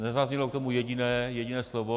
Nezaznělo k tomu jediné slovo.